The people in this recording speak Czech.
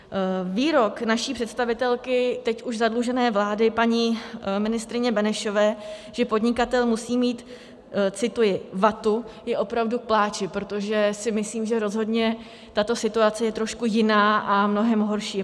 Výrok naší představitelky teď už zadlužené vlády, paní ministryně Benešové, že podnikatel musí mít - cituji - vatu, je opravdu k pláči, protože si myslím, že rozhodně tato situace je trošku jiná a mnohem horší.